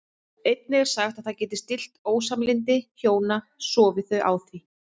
Einnig er sagt að það geti stillt ósamlyndi hjóna sofi þau á því.